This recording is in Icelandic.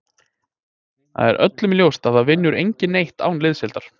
Það er öllum ljóst að það vinnur enginn neitt án liðsheildar.